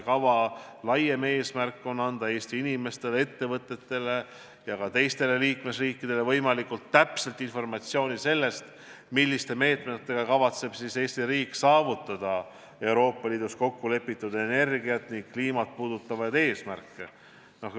Kava laiem eesmärk on anda Eesti inimestele, ettevõtetele ja ka teistele liikmesriikidele võimalikult täpset informatsiooni, milliste meetmetega kavatseb Eesti riik saavutada Euroopa Liidus kokku lepitud energiat ja kliimat puudutavad eesmärgid.